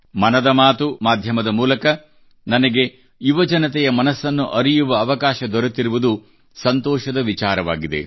ಮನದ ಮಾತು ಮಾಧ್ಯಮದ ಮೂಲಕ ನನಗೆ ಯುವಜನತೆಯ ಮನಸ್ಸನ್ನು ಅರಿಯುವ ಅವಕಾಶ ದೊರೆತಿರುವುದು ನನಗೆ ಸಂತೋಷದ ವಿಚಾರವಾಗಿದೆ